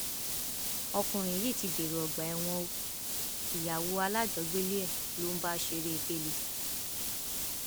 ọkùnrin yìí ti dèrò ọgbà ẹwọn o ìyàwó alájọgbélé ẹ ló ń bá ṣeré gẹlẹ